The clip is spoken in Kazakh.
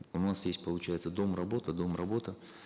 у нас есть получается дом работа дом работа